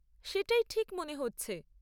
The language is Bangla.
সেটাই ঠিক মনে হচ্ছে।